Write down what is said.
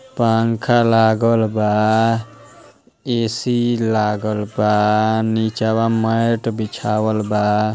पंखा लागल बा। एसी लागल बा। नीचवा मैट बिछावल बा।